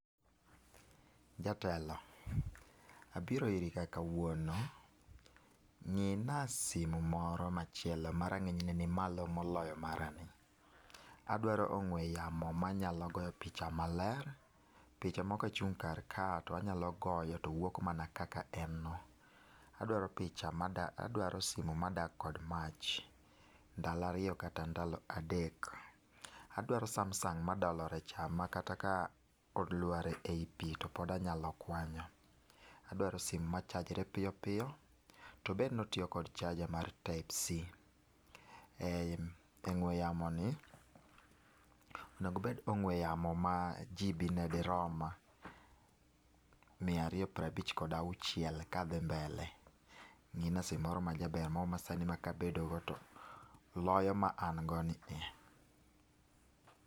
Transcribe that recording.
Jatelo, abiro iri kae kawuono, ng'i na simo moro machielo ma rang'iny ne ni malo mo olo mara ni, adwaro ong'we yamo ma nyalo goyo picha maler, picha ma ka agoyo kar kae to wuok mana kaka en no, adwaro picha adwaro simo ma dak kod mach ndalo ariyo kata ndalo adek. Adwaro samsung ma dolore cha makata ka oluar e pi to pod anyalo kwanyo. Adwaro simo ma chajore piyopiyo to obed ni otiyo kod charger mar type c. Ongwe yamo ni onego obed ong'we yamo ma GB ne di rom mia ariyo piero abich gi auchiel ka dhi mbele. Ng'ina simo moro ma jaber moro ma sani ma ka abedo go to loyo ma an go ni e.